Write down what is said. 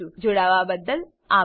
જોડાવાબદ્દલ આભાર